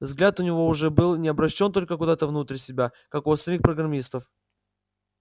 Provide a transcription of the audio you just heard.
взгляд у него уже не был обращён только куда-то внутрь себя как у остальных программистов